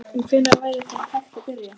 En hvenær væri þá hægt að byrja?